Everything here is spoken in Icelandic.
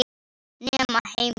Nema heima.